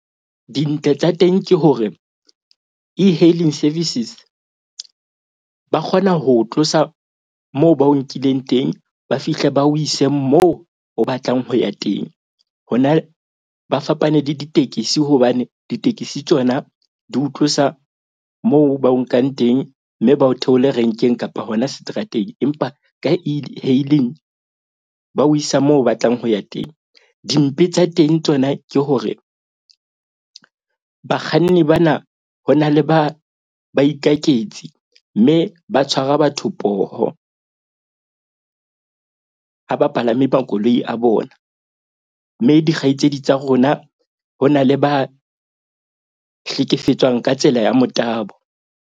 Dintle tsa teng ke hore E-hailing services ba kgona ho tlosa moo ba o nkileng teng, ba fihle ba o ise moo o batlang ho ya teng. Hona ba fapane le ditekesi hobane ditekisi tsona di ho tlosa moo ba o nkang teng. Mme ba o theole renkeng kapa hona seterateng. Empa ka E-hailing ba o isa moo o batlang ho ya teng. Dimpe tsa teng tsona ke hore bakganni bana ho na le baikaketsi. Mme ba tshwara batho poho ha ba palame makoloi a bona. Mme dikgaitsedi tsa rona ho na le ba hlekefetswang ka tsela ya motabo.